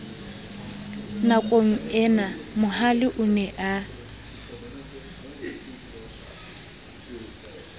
nakongena mohale o ne a